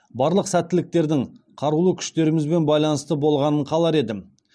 барлық сәттіліктердің қарулы күштерімізбен байланысты болғанын қалар едім